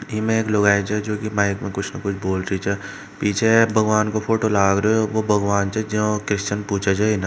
इमें एक लुगाई जो जो की माइक में कुछ न कुछ बोल रही है पीछे भगवान को फोटो लाग रहियो बो भगवान से जो कुएस्शन पूछे जो--